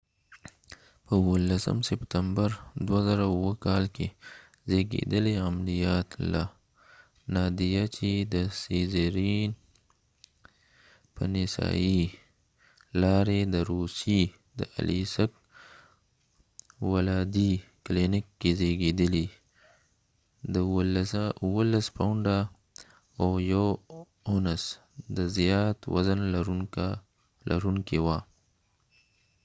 په اوولسم سپتمبر 2007 کا ل کې زیږیدلی ناديه چې د سیزیرینcesarian عملیات له لارې د روسیې د الیسک aliesk په نسایې ولادي کلینیک کې زیږیدلی، د 17 پاونډه او یو اونس د زیات وزن لرونکه وه